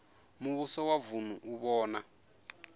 muvhuso wa vunu u vhona